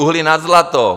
Uhlí nad zlato.